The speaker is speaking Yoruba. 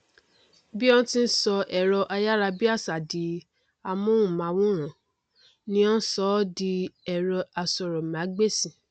bí ó ti n sọ ẹrọ ayárabíàṣa di amóhùnmáwòrán ni ó n sọ ọ di ẹrọ asọrọmágbèsì